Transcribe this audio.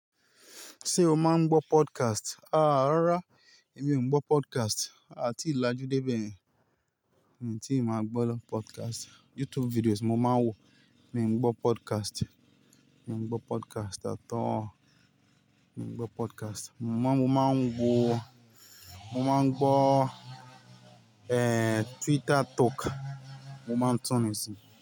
Ṣé o máa ń gbọ́ podcast? Àá rárá, èmi ò ń gbọ́ podcast, a ti làjú dé bẹ̀yẹn. N tí ì máa gbọ́ ló podcast. YouTube videos mo máa ń wò, mi ń gbọ́ podcast. Mi ò ń gbọ́ podcast atọ́. Mi ò ń gbọ́ podcast. Mo máa ń, mo máa ń wo, mo máa ń gbọ́, eh, Twitter talk, mo máa ń túni ìsìn.